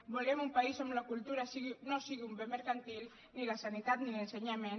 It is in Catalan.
volem un país on la cultura no sigui un bé mercantil ni la sanitat ni l’ensenyament